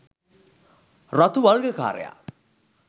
රතු වල්ගකාරයා